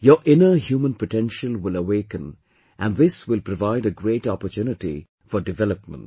Your inner human potential will awaken and this will provide a great opportunity for development